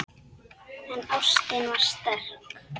En ástin var sterk.